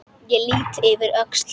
Ég lýt yfir öxl þína.